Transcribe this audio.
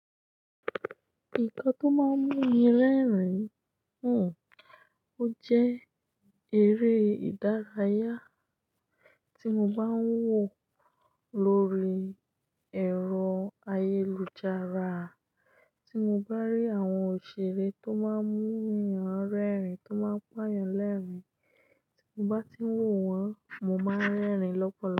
Nǹkan tó máa ń mú mi rẹ́rìn-ín, hmm ojẹ́ eré ìdárayá tí mo bá ń wò lórí ẹ̀rọ ayélujára tí mo bá rí àwọn òṣèré tó máa ń mú yàn rẹ́rìn-ín tó máa ń pọ́ yàn lẹ́rìn-ín. Ti mo bá ti wò wọ́n, mo máa ń rẹ́rìn-ín lọ́pọ̀lọpọ̀.